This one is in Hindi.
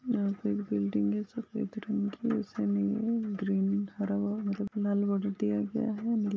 यहा पर एक बिल्डिंग है सफ़ेद रंग की है उसीमे ये ग्रीन हरा हुवा मतलब लाल बॉर्डर दिया गया है।